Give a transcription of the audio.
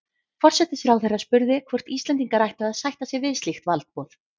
Forsætisráðherra spurði, hvort Íslendingar ættu að sætta sig við slíkt valdboð